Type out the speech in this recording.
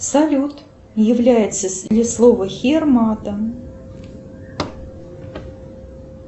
салют является ли слово хер матом